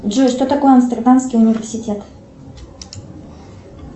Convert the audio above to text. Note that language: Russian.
джой что такое амстердамский университет